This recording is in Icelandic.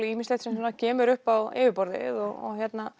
ýmislegt sem kemur upp á yfirborðið og